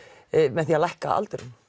með því að lækka aldurinn